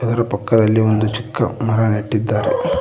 ಇದರ ಪಕ್ಕದಲ್ಲಿ ಒಂದು ಚಿಕ್ಕ ಮರ ನೆಟ್ಟಿದ್ದಾರೆ.